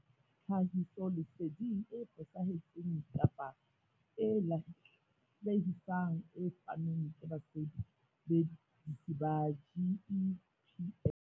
Tlhahisoleseding e fosahetseng kapa e lahlehisang e fanweng ke basebetsi ba GEPF.